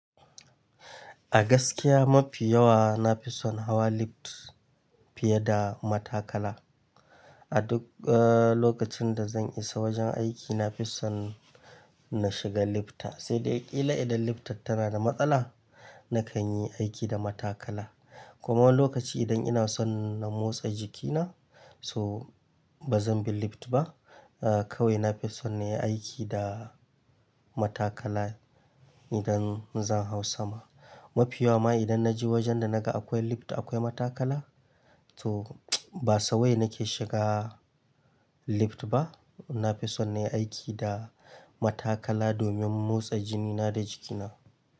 A gaskiya mafi yawa na fi son hawa lift fiye da matakala. A duk, eh, lokacin da zan isa wajen aiki na fi son na shiga lifta. Sai dai ƙila idan liftar tana da matsala, nakan yi aiki da matakala. So wani lokaci idan ina son na motsa jikina, so bazan bi lift ba. Eh, kawai na fi son na yi aiki da matakala idan zan hau sama. Mafi yawa ma idan na je wajen da na ga akwai lift akwai matakala, to ba sawai nake shiga lift ba. Na fi son na yi aiki da matakala domin motsa jinina da jikina.